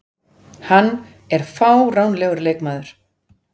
Hann er fáránlegur leikmaður.